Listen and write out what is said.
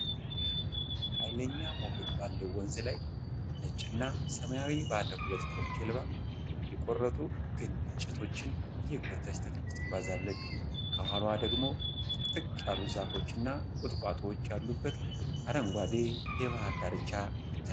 ኃይለኛ ሞገድ ባለው ወንዝ ላይ፣ ነጭ እና ሰማያዊ ባለ ሁለት ፎቅ ጀልባ የቆረጡ ግንድ እንጨቶችን እየጎተተች ትጓዛለች። ከኋላዋ ደግሞ ጥቅጥቅ ያሉ ዛፎች እና ቁጥቋጦዎች ያሉበት አረንጓዴ የባህር ዳርቻ ይታያል።